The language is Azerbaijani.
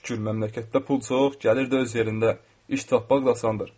Çox şükür, məmləkətdə pul çox, gəlir də öz yerində, iş tapmaq da asandır.